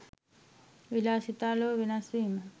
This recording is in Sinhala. විලාසිතා ලොව වෙනස් වීම